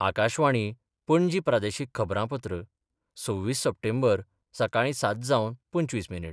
आकाशवाणी, पणजी प्रादेशीक खबरांपत्र सव्वीस सप्टेंबर, सकाळी सात जावन पंचवीस मिनीट